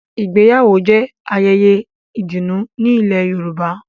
Ìgbéyàwó jẹ ayẹyẹ ìdùnnú ni ilẹ̀ Yorùbá.